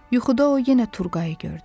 Yuxuda o yenə Turqayı gördü.